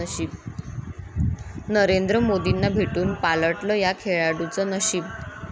नरेंद्र मोदींना भेटून पालटलं या खेळाडूचं नशीब